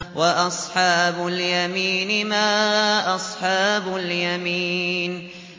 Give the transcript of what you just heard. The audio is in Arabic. وَأَصْحَابُ الْيَمِينِ مَا أَصْحَابُ الْيَمِينِ